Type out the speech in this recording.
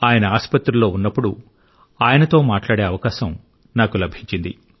ఆయన ఆసుపత్రిలో ఉన్నప్పుడు ఆయనతో మాట్లాడే అవకాశం నాకు లభించింది